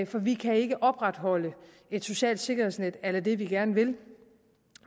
for vi kan ikke opretholde et socialt sikkerhedsnet a la det vi gerne vil